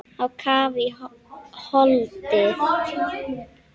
Á kaf í holdið.